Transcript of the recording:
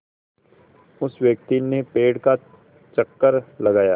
उस व्यक्ति ने पेड़ का चक्कर लगाया